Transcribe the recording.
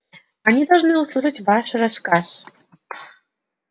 они должны услышать ваш рассказ